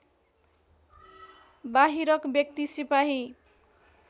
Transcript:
बाहिरक व्यक्ति सिपाही